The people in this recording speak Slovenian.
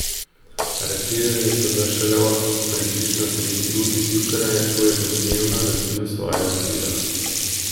Aretirali so ga šele ob približno tretji uri zjutraj, ko je domnevno razbil svoje vozilo.